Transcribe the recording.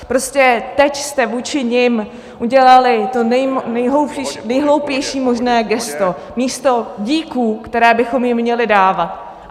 Prostě teď jste vůči nim udělali to nejhloupější možné gesto místo díků, které bychom jim měli dávat.